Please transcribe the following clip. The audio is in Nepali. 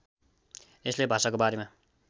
यसले भाषाको बारेमा